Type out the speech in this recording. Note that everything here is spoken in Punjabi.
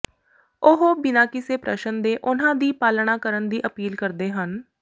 ਉਹ ਬਿਨਾਂ ਕਿਸੇ ਪ੍ਰਸ਼ਨ ਦੇ ਉਨ੍ਹਾਂ ਦੀ ਪਾਲਣਾ ਕਰਨ ਦੀ ਅਪੀਲ ਕਰਦੇ ਹਨ